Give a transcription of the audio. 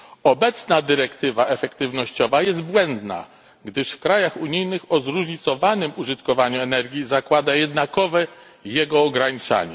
Obecna dyrektywa efektywnościowa jest błędna, gdyż w krajach unijnych o zróżnicowanym użytkowaniu energii zakłada jednakowe jego ograniczanie.